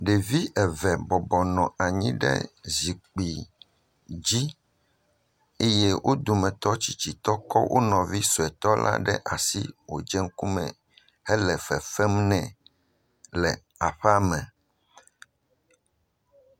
Ɖevi eve bɔbɔ nɔ anyi ɖe zikpui dzi eye wo dometɔ tsitsitɔ kɔ wo nɔvi sɔetɔ la ɖe asi wòdze ŋkumee hele fefem ne le aƒea me.